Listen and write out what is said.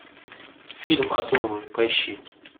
фильм оторвы поищи